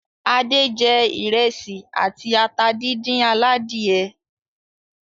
Adé jẹ ìrẹsì àti ata díndín aládìẹ.